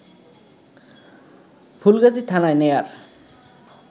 ফুলগাজী থানায় নেয়ার